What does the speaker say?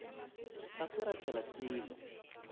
ga se ra tlela selo